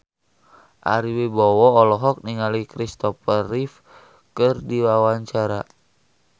Ari Wibowo olohok ningali Kristopher Reeve keur diwawancara